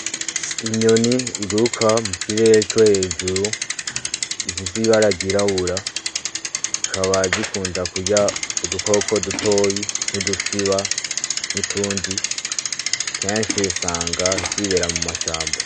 Inyoni iguruka mu kirere co hejuru ifise ibara ryirabura, zikaba zikunda kurya udukoko dutoyi nk'udusiba n'utundi; kenshi usanga zibera mu mashamba.